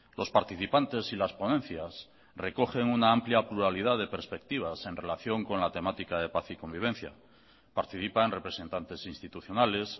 los participantes y las ponencias recogen una amplia pluralidad de perspectivas en relación con la temática de paz y convivencia participan representantes institucionales